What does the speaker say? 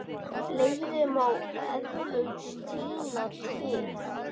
Fleiri má eflaust tína til.